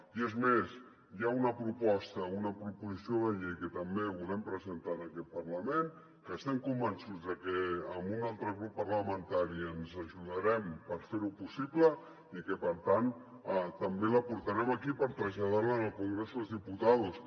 i és més hi ha una proposta una proposició de llei que també volem presentar en aquest parlament que estem convençuts de que amb un altre grup parlamentari ens ajudarem per fer ho possible i que per tant també la portarem aquí per traslladar la al congreso de los diputados